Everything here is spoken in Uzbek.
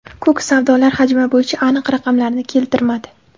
Kuk savdolar hajmi bo‘yicha aniq raqamlarni keltirmadi.